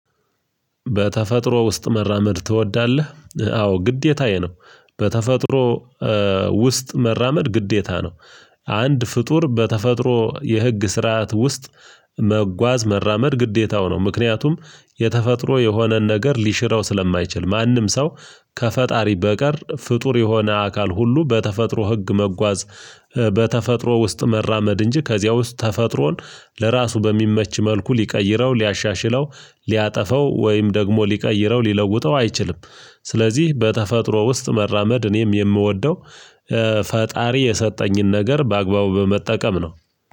በተፈጥሮ ውስጥ መራመድ ትወዳለህ አዎ ግዴታዬ ነው። በተፈጥሮ ውስጥ መራመድ ግዴታ ነው። አንድ ፍጡር በተፈጥሮ የህግ ስርዓት ውስጥ መጓዝ መራመድ ግዴታው ነው። ምክንያቱም የተፈጥሮ የሆነን ነገር ሊሽረው ስለማይችል ማንም ሰው ከፈጣሪ በቀር ፍጡር የሆነ አካል ሁሉ በተፈጥሮ ህግ መጓዝ። በተፈጥሮ ውስጥ መራመድ እንጂ ከዚያ ውስጥ ተፈጥሮን ለራሱ በሚመች መልኩ ሊቀይረው ሊያሻሽለው ሊያጠፋው ወይም ደግሞ ሊቀይረው ሊለውጠው አይችልም። ስለዚህ በተፈጥሮ ውስጥ መራመድ እኔም የምወደው ፈጣሪ የሰጠኝን ነገር በአግባቡ በመጠቀም ነው።